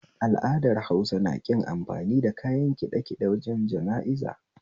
Al'adar Hausa naƙin amfani da kayan ƙiɗaƙiɗe wajen jana'iza